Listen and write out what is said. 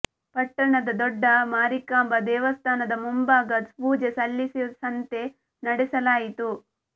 ಪಟ್ಟಣದ ದೊಡ್ಡ ಮಾರಿಕಾಂಬಾ ದೇವಸ್ಥಾನದ ಮುಂಭಾಗ ಪೂಜೆ ಸಲ್ಲಿಸಿ ಸಂತೆ ನಡೆಸಲಾಯಿತು